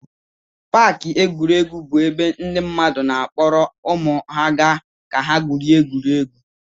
Paakị egwuregwu bụ ebe ndị mmadụ na-akpọrọ ụmụ ha ga ka ha gwurie egwu.